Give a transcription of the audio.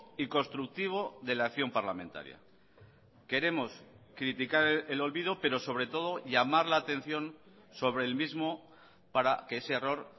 y constructivo de la acción parlamentaria queremos criticar el olvido pero sobre todo llamar la atención sobre el mismo para que ese error